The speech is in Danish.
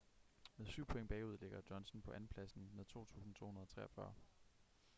med syv point bagude ligger johnson på andenpladsen med 2.243